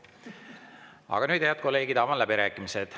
Aga nüüd, head kolleegid, avan läbirääkimised.